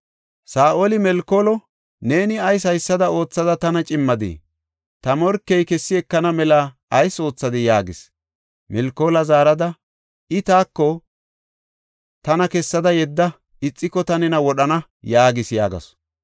Saa7oli Melkoolo, “Neeni ayis haysada oothada tana cimmadii? Ta morkey kessi ekana mela ayis oothadii?” yaagis. Milkoola zaarada, “I taako, ‘Tana kessada yedda; ixiko ta nena wodhana’ yaagis” yaagasu.